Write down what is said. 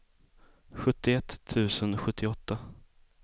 sjuttioett tusen sjuttioåtta